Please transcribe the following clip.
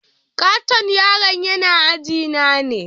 Katton yaron yana ajina ne.